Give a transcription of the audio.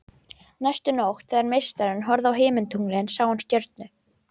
Næstu nótt þegar meistarinn horfði á himintunglin sá hann stjörnu